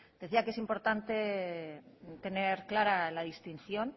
decía que es importante tener clara la distinción